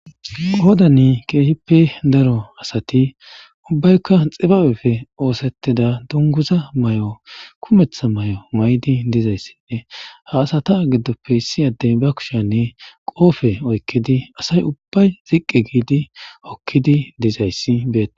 qoodani keehippe daro asati ubbaykka xibabepfe oosetteda dunguza may7o kumetha may7o may7di dizayssinne ha asata giddoppe issi adden ba kushiyanne qoofe oykkedi asay ubbay ziqqe giidi okkidi dizayssi beets